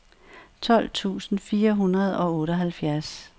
tolv tusind fire hundrede og otteoghalvfjerds